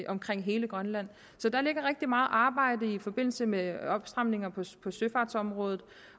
omkring hele grønland så der ligger rigtig meget arbejde i forbindelse med opstramninger på søfartsområdet